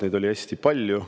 Neid oli hästi palju.